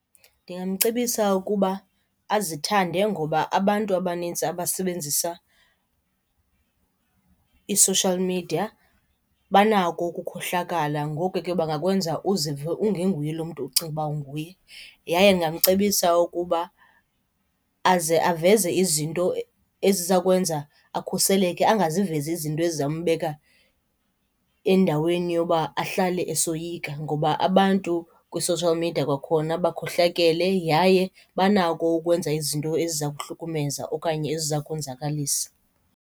Ndingamcebisa ukuba azithande ngoba abantu abanintsi abasebenzisa i-social media banako ukukhohlakala. Ngoko ke bangakwenza uzive ungenguye lo mntu ucinga uba unguye. Yaye ndingamcebisa ukuba aze aveze izinto eziza kwenza akhuseleke angazivezi izinto ezizawumbeka endaweni yoba ahlale esoyika, ngoba abantu kwi-social media kwakhona bakhohlakele yaye banako ukwenza izinto eziza kuhlukumeza okanye eziza konzakalisa.